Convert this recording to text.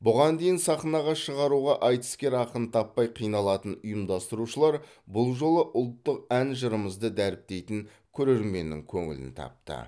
бұған дейін сахнаға шығаруға айтыскер ақын таппай қиналатын ұйымдастырушылар бұл жолы ұлттық ән жырымызды дәріптейтін көрерменнің көңілін тапты